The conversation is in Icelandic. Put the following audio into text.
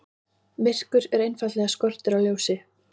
Myrkur er einfaldlega skortur á ljósi.